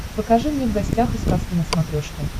покажи мне в гостях у сказки на смотрешке